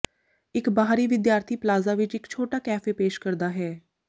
ਇੱਕ ਬਾਹਰੀ ਵਿਦਿਆਰਥੀ ਪਲਾਜ਼ਾ ਵਿੱਚ ਇੱਕ ਛੋਟਾ ਕੈਫੇ ਪੇਸ਼ ਕਰਦਾ ਹੈ